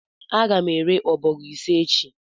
Aga m ere ọbọgwụ m ise echi